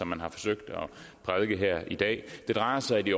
man har forsøgt at prædike her i dag det drejer sig i